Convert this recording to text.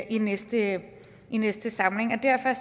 i næste i næste samling og derfor